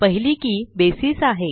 पहिली के बसीस आहे